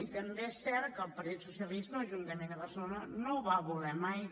i també és cert que el partit socialista a l’ajuntament de barcelona no ho va voler mai